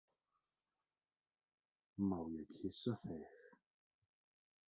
Má ég kyssa þig?